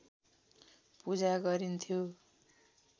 पूजा गरिन्थ्यो